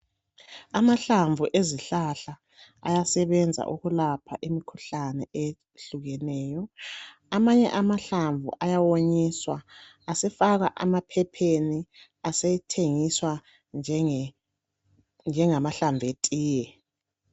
Amahlamvu ezihlahla ayasebenza ukulapha imikhuhlane eyehlukeneyo. Amanye amahlamvu ayawonyiswa, asefakwa emaphepheni asethengiswa njengamahlamvu etiye.